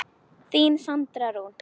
Þín Sandra Rún.